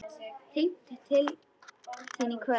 Hringi til þín í kvöld!